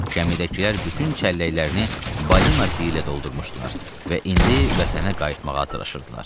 Gəmidəkilər bütün çəlləklərini balina piylə doldurmuşdular və indi vətənə qayıtmağa atışırdılar.